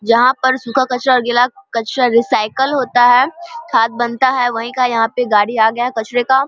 जहाँ पर सुखा कचरा और गिला कचरा रीसायकल होता है खाद बनता है वही का यहाँ पे गाड़ी आ गया है कचरे का।